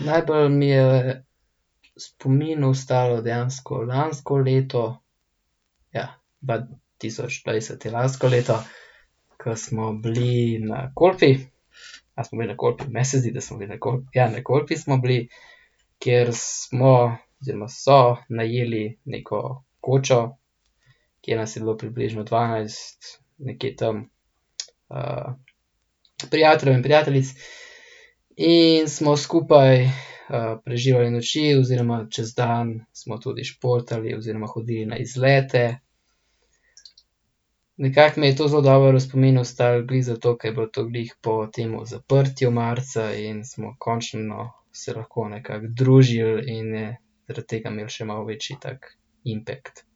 najbolj mi je v spominu ostalo dejansko lansko leto. Ja, dva tisoč dvajset je lansko leto, ke smo bili na Kolpi, a smo bili na Kolpi? Meni se zdi, da smo bili na Kolpi, ja, na Kolpi smo bili, kjer smo oziroma so najeli neko kočo, kjer nas je bilo približno dvanajst, nekje tam, prijateljev in prijateljic. In smo skupaj, preživljali noči oziroma čez dan smo tudi športali oziroma hodili na izlete. Nekako mi je to zelo dobro v spominu ostalo glih zato, ker je bilo to glih po tem zaprtju marca in smo končno se lahko nekako družili in je zaradi tega imelo še malo večji tak impact.